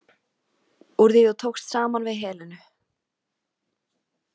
Úr því þú tókst saman við Helenu.